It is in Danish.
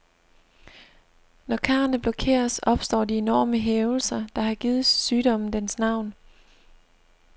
Når karrene blokeres, opstår de enorme hævelser, der har givet sygdommen dens navn.